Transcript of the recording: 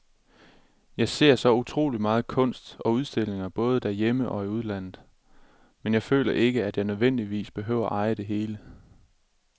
Jeg ser så utrolig meget kunst på udstillinger både herhjemme og i udlandet, men jeg føler ikke, at jeg nødvendigvis behøver eje det hele.